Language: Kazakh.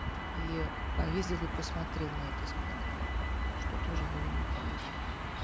и поездил и посмотрел на эти склады что тоже было бы полезно